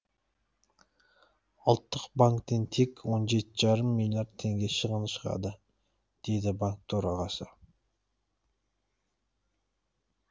ұлттық банктен тек он жеті жарым миллиард теңге шығын шығады деді банк төрағасы